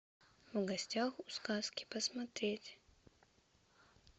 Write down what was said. в гостях у сказки посмотреть